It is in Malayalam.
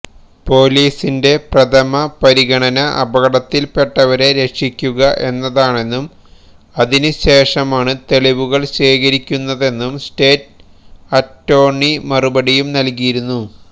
പൊലീസിന്റെ പ്രഥമ പരിഗണന അപകടത്തില് പെട്ടവരെ രക്ഷിക്കുക എന്നതാണെന്നും അതിനു ശേഷമാണ് തെളിവുകള് ശേഖരിക്കുന്നതെന്നും സ്റ്റേറ്റ് അറ്റോര്ണി മറുപടിയും നല്കിയിരുന്നു